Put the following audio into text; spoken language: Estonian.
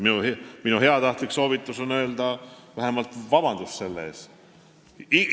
Minu heatahtlik soovitus on vähemalt paluda selle eest vabandust.